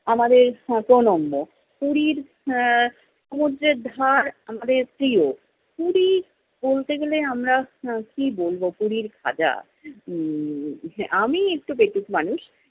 আমাদের শত নম্য । পুরীর আহ সমুদ্রের ধার আমাদের প্রিয়। পুরী বলতে গেলে আমরা আহ কি বলবো, পুরীর ভাজা। উম আমি একটু পেটুক মানুষ।